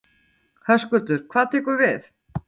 Höskuldur: Hvað tekur við?